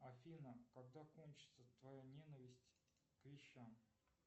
афина когда кончится твоя ненависть к вещам